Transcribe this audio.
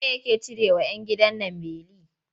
Wa ye yake cirewa 'yan gidan man beli?